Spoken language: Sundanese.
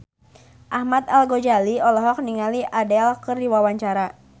Ahmad Al-Ghazali olohok ningali Adele keur diwawancara